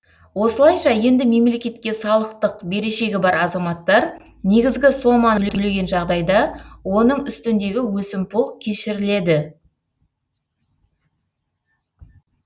осылайша енді мемлекетке салықтық берешегі бар азаматтар негізгі соманы төлеген жағдайда оның үстіндегі өсімпұл кешіріледі